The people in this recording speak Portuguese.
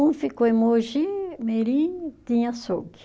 Um ficou em Mogi Mirim, tinha açougue.